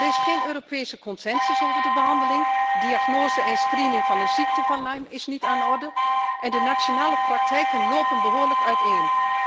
Er is geen Europese consensus over de behandeling, en diagnose en screening van de ziekte van Lyme is niet aan de orde en de nationale praktijken lopen behoorlijk uiteen.